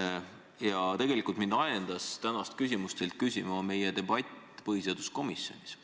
Aga tegelikult mind ajendas tänast küsimust küsima meie debatt põhiseaduskomisjonis: